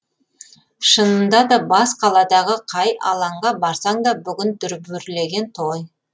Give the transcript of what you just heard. шынында да бас қаладағы қай алаңға барсаң да бүгін дүрбүрлеген той